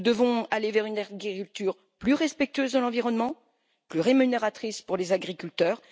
Nous devons aller vers une agriculture plus respectueuse de l'environnement et plus rémunératrice pour les agriculteurs.